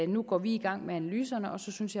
nu går i gang med analyserne og så synes